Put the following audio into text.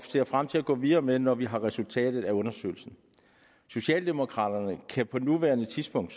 ser frem til at gå videre med når vi har resultatet af undersøgelsen socialdemokraterne kan på nuværende tidspunkt